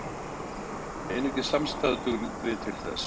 Einungis samstaða dugi til þess.